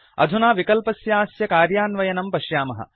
अधुना विकल्पस्यास्य कार्यान्वयनं पश्यामः